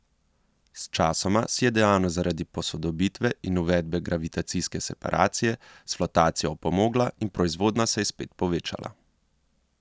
Sčasoma si je dejavnost zaradi posodobitve in uvedbe gravitacijske separacije s flotacijo opomogla in proizvodnja se je spet povečala.